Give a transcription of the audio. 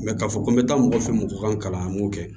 k'a fɔ ko n bɛ taa mɔgɔ fɛ mɔgɔ kan an b'o kɛ